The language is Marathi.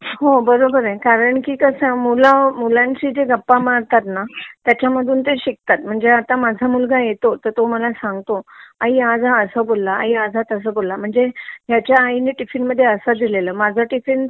कारण की कसं मूल मुलांशी जे गप्पा मारतात ना त्याचंधून ते शिकतात म्हणजे आता माझा मुलगा येतो तर तो मला सांगतो की आई आज हा असं बोलला आज हा तसं बोलला म्हणजे ह्याचा आईने टिफिन मध्ये असा दिलेला माझा टिफिन